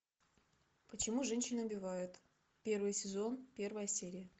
почему женщины убивают первый сезон первая серия